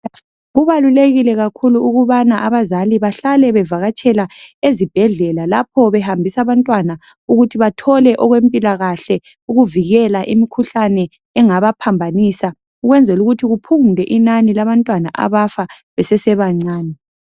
Kubalulekile kakhulu ukubana abazali bahlale bevakatshela ezibhedlela lapho behambisa abantwana ukuthi bathole okwempilakahle ukuvikela imikhuhlane engabaphambanisa. Ukwenzelukuthi kuphungule inani labantwana abafa besesebancane.